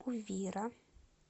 увира